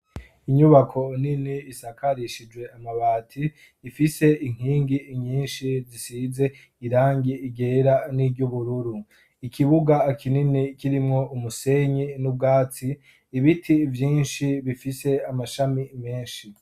Inyubako nini isakarishije amabati ifise inkingi nyinshi zisize irangi ryera n'iry'ubururu ikibuga kinini kirimwo umusenyi n'ubwatsi ibiti byinshi bifise amashami menshi.